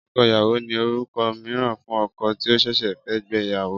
Ọkọ ìyàwó ni orúkọ mìíràn fún ọkọ tí ó ṣẹ̀ṣẹ̀ fẹ́ gbé ìyàwó